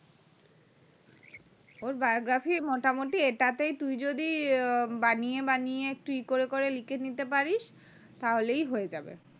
ওর biogphy মোটামোটি এটাতেই তুই যদি ইয়ে বানিয়ে বানিয়ে একটু ই করে করে লিখে নিতে পারিস তাহলেই হয়ে যাবে